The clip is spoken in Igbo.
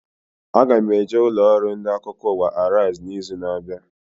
Aga m eje ụlọ ọrụ ndị akụkọ ụwa Arise na izu na abịa